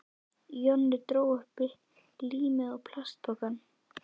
Jonni dró upp límið og plastpokann.